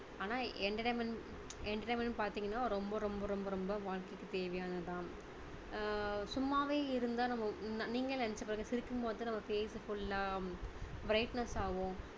ஆனா entertainment entertainment பாத்தீங்கன்னா ரொம்ப ரொம்ப ரொம்ப ரொம்ப வாழ்க்கைக்கு தேவையானது தான் ஆஹ் சும்மாவே இருந்தா நம்ம நீங்களே நெனைச்சு பாருங்க சிரிக்கும் பொழுது நம்ம face full லா brightness ஆவோம்